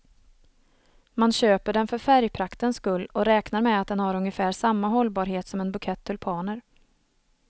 Man köper den för färgpraktens skull och räknar med att den har ungefär samma hållbarhet som en bukett tulpaner.